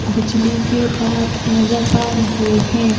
बिजली के तार नजर आ रहे हैं।